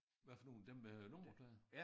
Hvad for nogle dem med nummerplader?